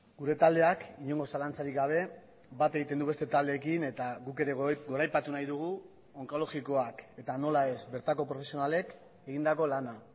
gure taldeak inongo zalantzarik gabe bat egiten du beste taldeekin eta guk ere goraipatu nahi dugu onkologikoak eta nola ez bertako profesionalek egindako lana